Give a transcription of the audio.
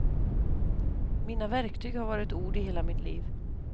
Mina verktyg har varit ord i hela mitt liv.